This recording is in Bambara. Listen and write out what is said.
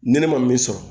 Ni ne ma min sɔrɔ